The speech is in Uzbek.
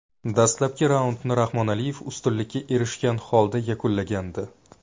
Dastlabki raundni Rahmonaliyev ustunlikka erishgan holda yakunlagandi.